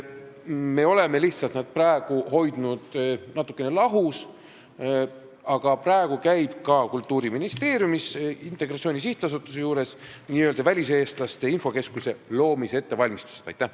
Me oleme lihtsalt hoidnud nad natukene lahus, aga praegu käib ka Kultuuriministeeriumis Integratsiooni Sihtasutuse juures n-ö väliseestlaste infokeskuse loomise ettevalmistamine.